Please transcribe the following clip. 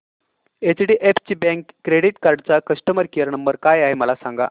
HDFC bank credit card चा customer care number काय आहे मला सांगा